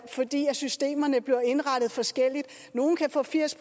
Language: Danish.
fordi systemerne bliver indrettet forskelligt nogle kan få firs